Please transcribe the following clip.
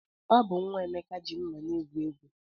Ọ bụ nwa Emeka ji mma na-egwu egwu.